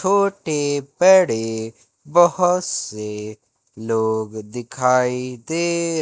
छोटे बड़े बहोत से लोग दिखाइ दे--